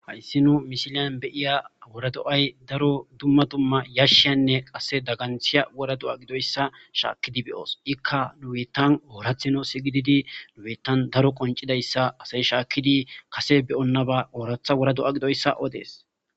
Hayssi nu mishilyan beyiya wora do'ay daro dumma dumma yashshiyanne qase daganthiya wora do'a gidoyssa shaakkidi beyoos ikka nuwetan oorathino sigididi nu'ettan daro qoncidayssa asay shaakkidi kase beyonnaba ooratha wora do'a gidoyssa odees.